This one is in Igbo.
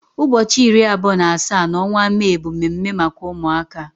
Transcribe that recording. Ụbọchị iri abụọ na asaa n'ọnwa Mee bụ mme mme maka ụmụaka.